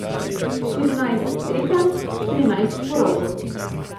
Štirinajst tekem, štirinajst porazov.